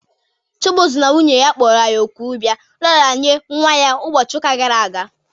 Chibuzo na nwunye ya kpọrọ anyị òkù ịbịa nraranye nwa ha ụbọchị ụka gara aga